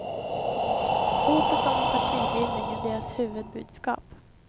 Hotet om en partibildning är deras huvudbudskap.